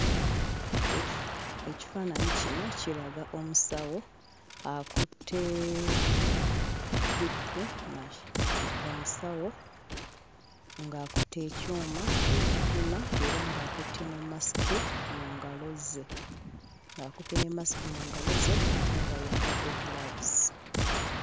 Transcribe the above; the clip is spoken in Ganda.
Ekifu ekifaananyi kino kiraga omusawo akutte BP mach, omusawo ng'akutte ekyuma ekipima era ng'akutte ne masiki mu ngalo ze ng'akutte ne masiki mu ngalo ze ate ng'ayambadde 'gloves'.